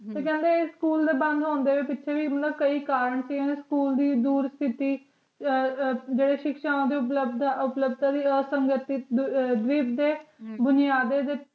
ਤੇ ਕਹਿੰਦੇ ਸਕੂਲ ਦੇ ਬੰਦ ਹੋਣ ਦੇ ਪਿੱਛੇ ਵੀ ਕਈ ਕਾਰਨ ਸੀ ਸਕੂਲ ਦੀ ਦੁਰ ਫਿਟ ਪਰ ਰੱਬ ਦੇ ਸਿੱਖਾਂ ਦੇ ਬਰਾਬਰ ਅਧਿਕਾਰ ਸੰਗਠਨ ਦੁਨੀਆ ਦੇ